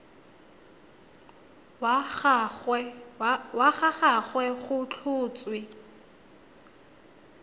wa ga gagwe go tlhotswe